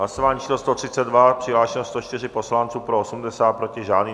Hlasování číslo 132, přihlášeno 104 poslanců, pro 80, proti žádný.